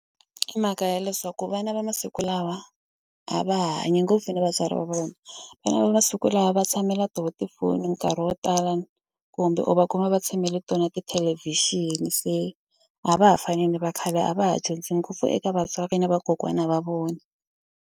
I mhaka ya leswaku vana va masiku lawa a va ha hanyi ngopfu na vatswari va vona vana va masiku lawa va tshamela to tifoni nkarhi wo tala kumbe u va kuma va tshamele tona tithelevhixini se a va ha fani ni va khale a va ha dyondzi ngopfu eka vatswari ni vakokwana a va vona.